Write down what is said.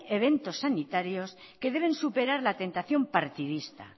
eventos sanitarios que deben superar la tentación partidista